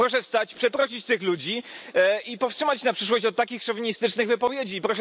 Proszę wstać i przeprosić tych ludzi i powstrzymać się na przyszłość od takich szowinistycznych wypowiedzi.